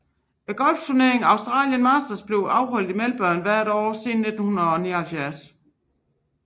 Golfturneringen Australian Masters er blevet afholdt i Melbourne hvert år siden 1979